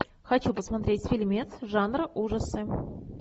хочу посмотреть фильмец жанра ужасы